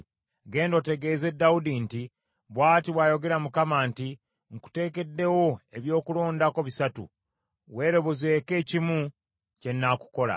“Genda otegeeze Dawudi nti, ‘Bw’ati bw’ayogera Mukama nti: nkuteekeddewo eby’okulondako bisatu, weerobozeeko ekimu kye nnaakukola.’ ”